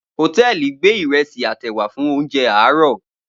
Hòtẹ́ẹ̀lì gbé ìrẹsì àtèwà fún oúnjẹ àárọ̀.